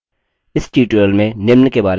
इस tutorial में निम्न के बारे में सीखेंगे